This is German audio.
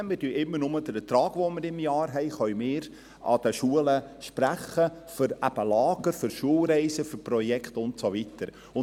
Wir können jeweils nur den Ertrag, den wir pro Jahr erreichen, den Schulen für Lager, Schulreisen, für Projekte und so weiter, sprechen.